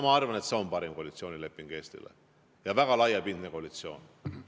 Ma arvan, et see on parim koalitsioonileping Eestile ja väga laiapindne koalitsioon.